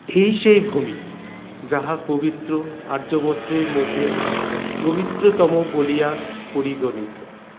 এই সেই ভূমি যাহা পবিত্র আর্যাবর্তের মধ্যে পবিত্রতম বলিয়া পরিগণিত